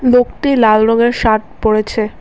লোকটি লাল রঙের শার্ট পড়েছে।